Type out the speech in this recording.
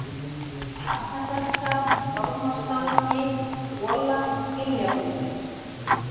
Arnardalsskarð, Ormarsstaðagil, Gola, Giljabrúnir